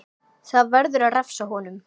Það verður að refsa honum!